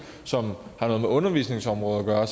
som har noget med undervisningsområdet at